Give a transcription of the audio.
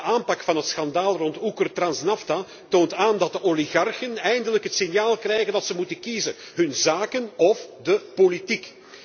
De aanpak van het schandaal rond UkrTransNafta toont aan dat oligarchen eindelijk het signaal krijgen dat ze moeten kiezen hun zaken of de politiek.